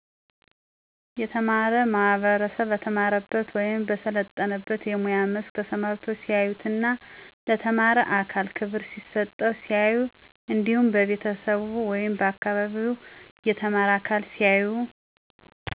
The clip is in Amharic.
የተማረው ማህበረሰብ በተማረበት ወይም በሰለጠነበት የሙያ መስክ ተሰማርቶ ሲያዩትና ለተማረ አካል ክብር ሲሰጠው ሲያዩ እንዲሁም በቤተሰቡ ወይም በአካባቢው የተማረ አካል ሲያዩ